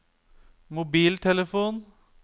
mobiltelefon